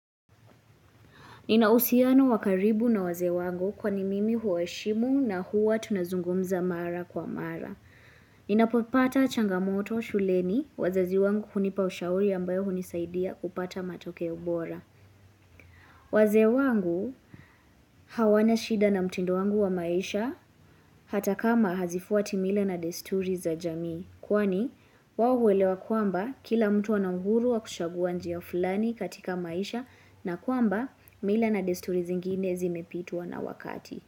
Nina uhusiano wa karibu na wazee wangu kwani mimi huwaheshimu na huwa tunazungumza mara kwa mara. Ninapopata changamoto shuleni wazazi wangu hunipa ushauri ambayo hunisaidia kupata matokeo bora. Wazee wangu hawana shida na mtindo wangu wa maisha hata kama hazifuati mila na desturi za jamii. Kwani, wao huelewa kwamba kila mtu ana uhuru wa kuchagua njia fulani katika maisha na kwamba mila na desturi zingine zimepitwa na wakati.